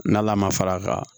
N'ala ma fara a kan